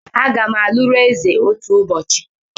Agam aluru eze otu ubochi